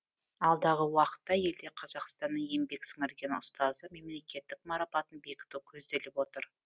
алдағы уақытта елде қазақстанның еңбек сіңірген ұстазы мемлекеттік марапатын бекіту көзделіп отыр